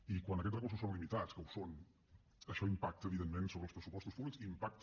i quan aquests recursos són limitats que ho són això impacta evidentment sobre els pressupostos públics i impacta